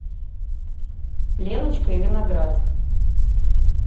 леночка и виноград